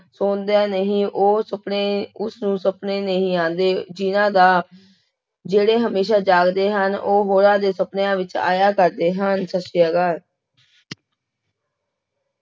ਸੋਂਦਾ ਨਹੀਂ ਉਹ ਸੁਪਨੇ ਉਸਨੂੰ ਸੁਪਨੇ ਨਹੀਂ ਆਉਂਦੇ, ਜਿਹਨਾਂ ਦਾ, ਜਿਹੜੇ ਹਮੇਸ਼ਾ ਜਾਗਦੇ ਹਨ, ਉਹ ਹੋਰਾਂ ਦੇ ਸੁਪਨਿਆਂ ਵਿੱਚ ਆਇਆ ਕਰਦੇ ਹਨ, ਸਤਿ ਸ੍ਰੀ ਅਕਾਲ।